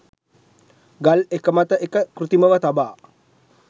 ගල් එක මත එක කෘතිමව තබා